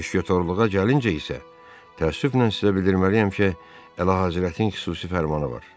Müşketyorluğa gəlincə isə, təəssüflə sizə bildirməliyəm ki, Əlahəzrətin xüsusi fərmanı var.